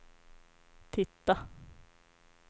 titta